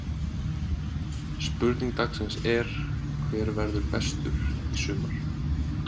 Spurning dagsins er: Hver verður bestur í sumar?